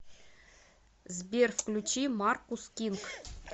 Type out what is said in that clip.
сбер включи маркус кинг